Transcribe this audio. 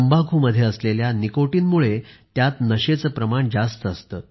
तंबाखूमध्ये असलेल्या निकोटीनमुळे त्यात नशेचे प्रमाण जास्त असते